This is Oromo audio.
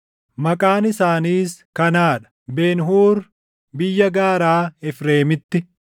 Maqaan isaaniis kanaa dha: Ben-Huur, biyya gaaraa Efreemitti;